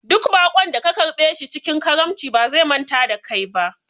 Duk baƙon da ka karɓe shi cikin karamci ba zai manta da kai ba